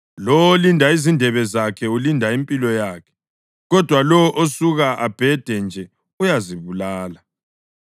Lowo olinda izindebe zakhe ulinda impilo yakhe, kodwa lowo osuka abhede nje uyazibulala.